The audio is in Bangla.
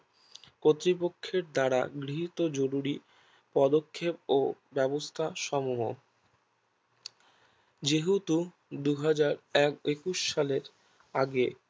কতৃপক্ষের দ্বারা গৃহীত জরুরী পদক্ষেপ ও ব্যাবস্থা সমূহ যেহেতু দু হাজার একুশ সালের আগে